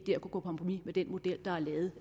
vil gå på kompromis med den model der er lavet